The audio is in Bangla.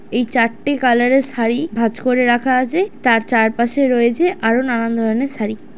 এই চারটে কালার -এর শাড়ি ভাঁজ করে রাখা আছে তার চার পাশে রয়েছে আরো নানান ধরনের শাড়ি ।